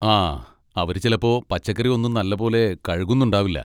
ആ, അവര് ചിലപ്പോ പച്ചക്കറി ഒന്നും നല്ലപോലെ കഴുകുന്നുണ്ടാവില്ല.